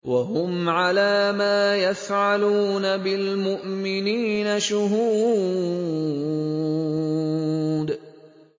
وَهُمْ عَلَىٰ مَا يَفْعَلُونَ بِالْمُؤْمِنِينَ شُهُودٌ